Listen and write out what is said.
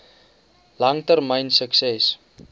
lang termyn sukses